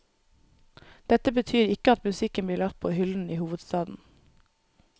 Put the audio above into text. Dette betyr ikke at musikken blir lagt på hyllen i hovedstaden.